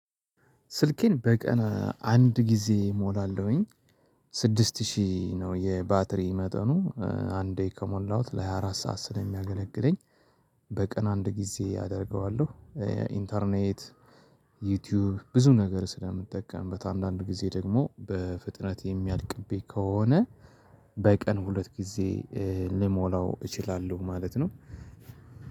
ስልኬን በቀን አንድ ጊዜ እሞላለሁኝ። ስድስት ሺህ ነው የባተሪ መጠኑ አንደ ከሞላሁት ሃያ አራት ሰዓት ስለሚያገለግለኝ። በቀን አንድ ጊዜ አደርገዋለሁ። ኢንተርኔት። ዩቲዩብ ብዙ ነገር ስለምጠቀምበት አንዳንድ ጊዜ ደግሞ በፍጥነት የሚያልቅብኝ ከሆነ። በቀን ሁለት ጊዜ ልሞላው እችላለሁ ማለት ነው።